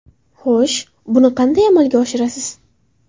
Xo‘sh, buni qanday amalga oshirasiz?